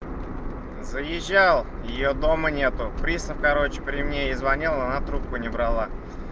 заезжал её дома нет пристав короче при мне ей звонил она трубку не брала